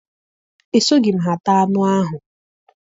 Esoghị m ha taa anụ ahụ.